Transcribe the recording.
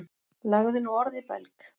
Lagði nú orð í belg.